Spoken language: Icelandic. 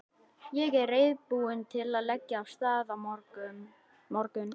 Ég er reiðubúinn til að leggja af stað á morgun.